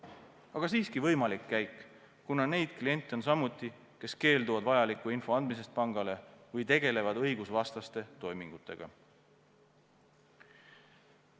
Aga see on siiski võimalik käik, kuna neid kliente on samuti, kes keelduvad pangale vajalikku infot andmast või tegelevad õigusvastaste toimingutega.